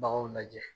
Baganw lajɛ